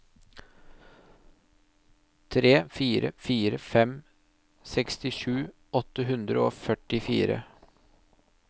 tre fire fire fem sekstisju åtte hundre og førtifire